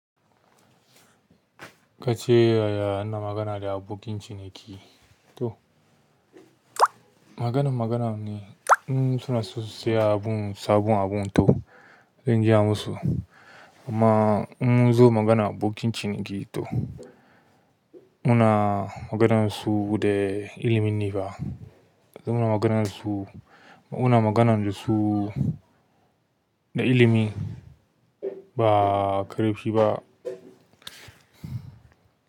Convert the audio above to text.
Kace yaya ana magana da abokin ciniki? To maganan magana ne, in suna so su saya abun, sabon abun to zan gaya musu. Amma in nazo magana abokin ciniki to muna maganar su da ilimin ne ba. Muna maganar su, muna magana da su na ilimin, ba ƙarfi ba.